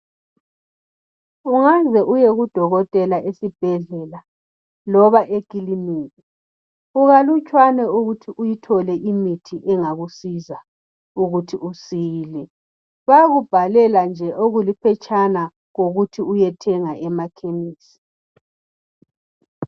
ungaze uyekudokotela esibhedlela loba ekilinika kukalutshwana ukuthi uyithole imithi engakusiza ukuthi usile bayakubhalela nje okuliphetshana kokuthi uyethenga emakhemisi